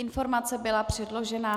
Informace byla předložena.